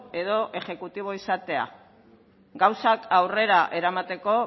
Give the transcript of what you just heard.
edo exekutibo izatea gauzak aurrera eramateko